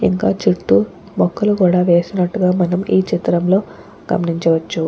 ఇంకా చుట్టుముక్కలు కూడా వేసినట్టుగా మనమే చిత్రంలో గమనించవచ్చు.